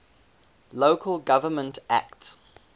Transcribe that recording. local government act